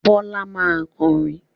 Bọ́lá máa kọrin.